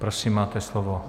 Prosím, máte slovo.